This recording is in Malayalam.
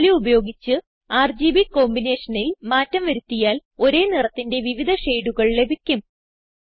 വാല്യൂ ഉപയോഗിച്ച് ആർജിബി combinationനിൽ മാറ്റം വരുത്തിയാൽ ഒരേ നിറത്തിന്റെ വിവിധ ഷെയിഡുകൾ ലഭിക്കും